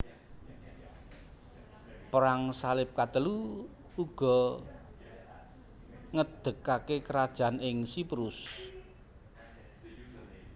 Perang Salib Katelu uga ngedekake krajan ing Siprus